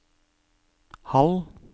halv